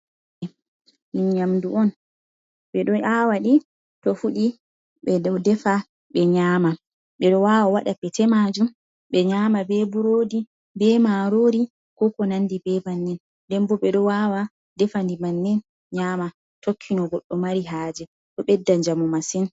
Ɗum nyamɗu on. Ɓe ɗo awaɗi, to fuɗi, ɓe ɗo ɗefa ɓe nyama. Ɓe ɗo wawa waɗa pete majum, ɓe nyama ɓe ɓuroɗi ɓe marori, ko ko nanɗi ɓe ɓannin. Ɗen ɓo ɓe ɗo wawa ɗefa nɗi ɓannin nyama. Tokki no goɗɗo mari haje. Ɗo ɓeɗɗa jamu masin.